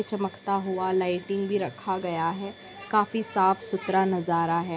चमकता हुआ लाइटिंग भी रखा गया है काफी साफ सुथरा नजारा है।